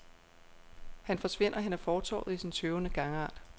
Han forsvinder hen ad fortovet i sin tøvende gangart.